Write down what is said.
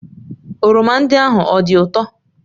oroma ndị ahụ ọ dị ụtọ?